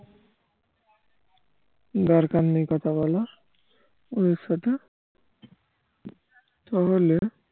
দরকার নেই কথা বলার ওদের সাথে তা হলে